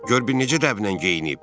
Gör bir necə dəblə geyinib?